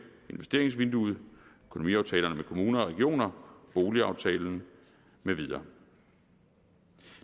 investeringsvinduet økonomiaftalerne med kommuner og regioner boligaftalen med videre